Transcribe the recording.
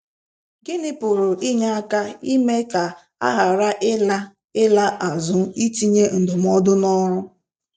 Gịnị pụrụ inye aka ime ka a ghara ịla ịla azụ itinye ndụmọdụ n’ọrụ?